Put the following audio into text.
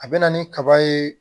A bɛ na ni kaba ye